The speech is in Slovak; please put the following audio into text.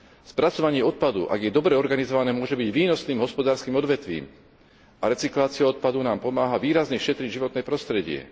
Spracovanie odpadu, ak je dobre organizované, môže byť výnosným hospodárskym odvetvím a recyklácia odpadu nám pomáha výrazne šetriť životné prostredie.